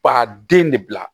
Ba den de bila